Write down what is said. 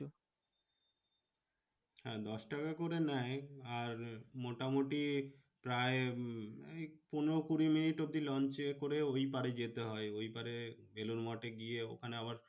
হ্যাঁ দশ টাকা করে নেয়। আর মোটামুটি প্রায় উম এই পনেরো কুড়ি মিনিট অব্দি launch এ করে ওই পারে যেতে হয়। ওই পারে বেলুড় মঠে গিয়ে ওখানে আবার